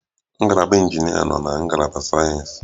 Ngalaba injinịa nọ na ngalaba sayensị